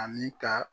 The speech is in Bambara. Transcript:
Ani ka